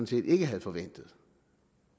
set ikke havde forventet